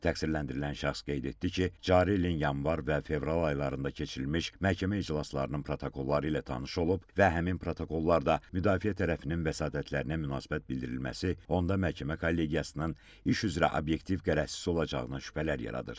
Təqsirləndirilən şəxs qeyd etdi ki, cari ilin yanvar və fevral aylarında keçirilmiş məhkəmə iclaslarının protokolları ilə tanış olub və həmin protokollar da müdafiə tərəfinin vəsatətlərinə münasibət bildirilməsi onda məhkəmə kollegiyasının iş üzrə obyektiv qərəzsiz olacağına şübhələr yaradır.